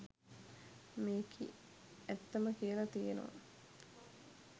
මේකි ඇත්තම කියල තියනව